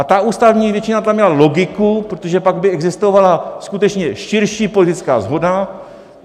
A ta ústavní většina tam měla logiku, protože pak by existovala skutečně širší politická shoda.